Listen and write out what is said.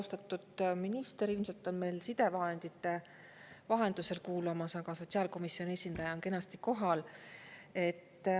Austatud minister ilmselt on meil sidevahendite vahendusel kuulamas, aga sotsiaalkomisjoni esindaja on kenasti kohal.